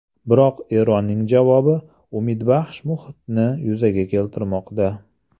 Biroq Eronning javobi umidbaxsh muhitni yuzaga keltirmoqda.